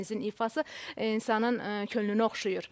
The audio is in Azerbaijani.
Hər ikinizin ifası insanın könlünü oxşayır.